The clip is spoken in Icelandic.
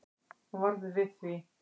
Hún varð við því